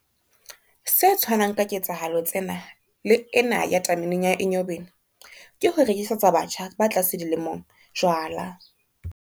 Se tshwanang ka ketsahalo tsena le ena ya tameneng ya Enyobeni, ke ho rekisetsa batjha ba tlase dilemong jwala.